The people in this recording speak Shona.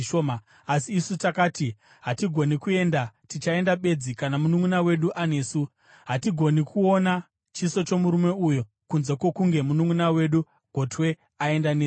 Asi isu takati, ‘Hatigoni kuenda. Tichaenda bedzi kana mununʼuna wedu anesu. Hatigoni kuona chiso chomurume uyo kunze kwokunge mununʼuna wedu gotwe aenda nesu.’